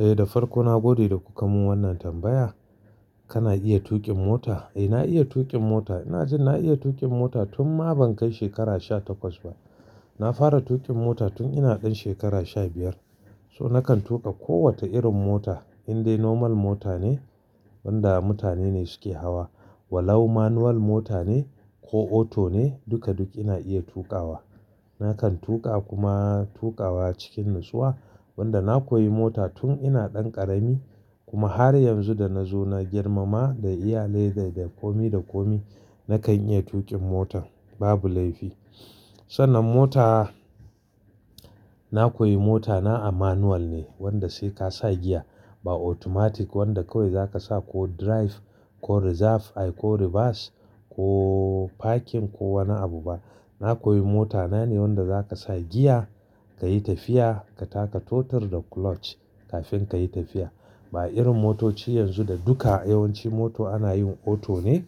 Eh, da farko na gode da kuka mun wannan tambaya. Kana iya tuƙin mota? Eh, na iya tuƙin mota. Ina jin na iya tuƙin mota tun ma ban kai shekara sha takwas ba. Na fara tuƙin mota tun ina ɗan shekara sha biyar. So nakan tuƙa ko wata irin mota, indai normal mota ne, wanda mutane ne suke hawa, walau manual mota ne ko auto ne, duka duk ina iya tuƙawa. Nakan tuƙa kuma tuƙawa cikin natsuwa. Wanda na koyi mota tun ina ɗan ƙarami kuma har yanzu da na zo na girma ma da iyalai da dai komi da komi, nakan iya tuƙin mota, babu laifi. Sannan mota, na koyi mota na a manual ne, wanda sai ka sa giya, ba automatic wanda kawai za ka sa ko drive ko reserve ai ko reverse ko parking ko wani abu ba. Na koyi mota nane wanda za ka sa giya, ka yi tafiya, ka taka totur da clutch kafin ka yi tafiya. Ba irin motoci yanzu da duka yawanci moto ana yin auto ne,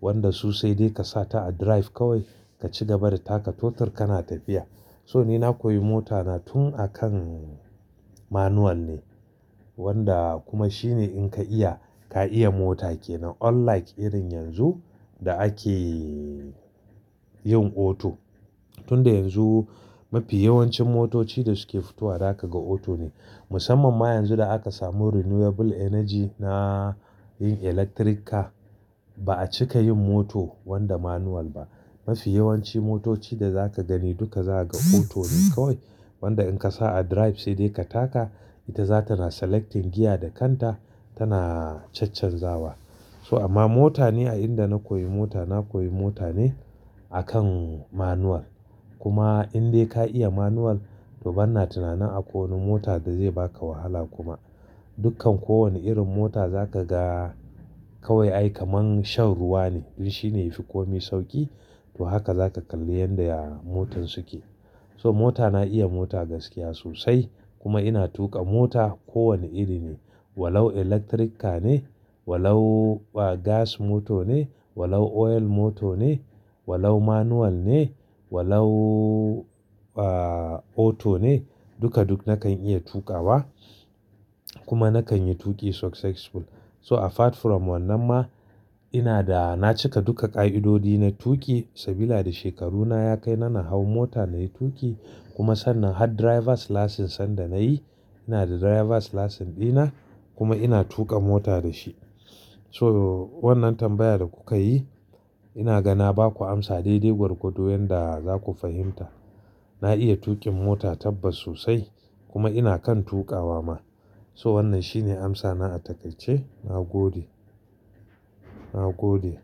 wanda su sai dai ka sa ta a drive kawai, ka ci gaba da taka totur kana tafiya. So ni na koyi mota na tun a kan manual ne. Wanda kuma shine in ka iya, ka iya mota ke nan, unlike irin yanzu da ake yin auto. Tun da yanzu mafi yawancin motoci da suke fito wa za ka ga auto ne. Musamman ma yanzu da aka samu renewable energy na yin electric car, ba a cika yin moto wanda manual ba. Mafi yawanci motoci da za ka gani duka za ka ga auto ne kawai. Wanda in ka sa a drive sai dai ka taka, ita za tana selecting giya da kanta, tana caccanzawa. So amma mota ne, a inda na koyi mota, na koyi mota ne a kan manual. Kuma indai ka iya manual, to ban na tunani akwai wani mota da zai ba ka wahala kuma. Dukkan kowane irin mota za ka ga kawai ai kaman shan ruwa ne. Duk shine yafi komi sauƙi, to haka za ka kalli yanda ya motar suke. So mota, na iya mota gaskiya sosai kuma ina tuƙa mota kowane iri ne. Walau electric car ne, walau, ah, gas moto ne, walau oil moto ne, walau manual ne, walau, ah, auto ne, duka duk nakan iya tuƙawa kuma nakan yi tuƙi successful. So apart from wannan ma, ina da, na cika duka ƙa'idodi na tuƙi. Sabila da shekaru na ya kai, na na hau mota nayi tuƙi. Kuma sannan har driver's license sanda nayi, ina da driver's license ɗina kuma ina tuƙa mota da shi. So wannan tambayar da kuka yi, ina ga na ba ku amsa daidai gwargwadon yanda za ku fahimta. Na iya tuƙin mota tabbas sosai kuma ina kan tuƙawa ma. So wannan shine amsa na a takai ce. Na gode. Na gode.